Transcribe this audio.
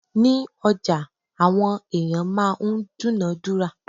Ní ọjà, àwọn ẹ̀yàn máa ń dúǹádúrà.